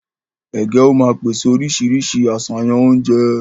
Ègé ó má pèsè oríṣiríṣi àṣàyàn oúnjẹ